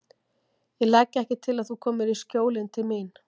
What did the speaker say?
Ég legg ekki til að þú komir í Skjólin til mín.